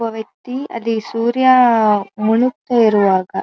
ಒಬ್ಬ ವ್ಯಕ್ತಿ ಅಲ್ಲಿ ಸೂರ್ಯ ಮುಣಕ್ ತ್ತಾ ಇರುವಾಗ --